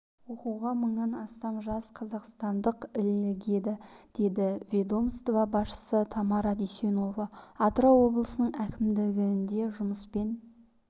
оқуға мыңнан астам жас қазақстандық ілігеді деді ведомство басшысы тамара дүйсенова атырау облысының әкімдігінде жұмыспен